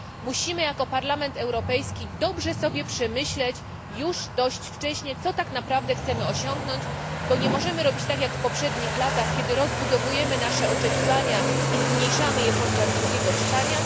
Musimy jako Parlament Europejski dobrze przemyśleć już wcześniej, co tak naprawdę chcemy osiągnąć, bo nie możemy robić tak jak w poprzednich latach, kiedy rozbudowaliśmy nasze oczekiwania i zmniejszaliśmy je podczas drugiego czytania.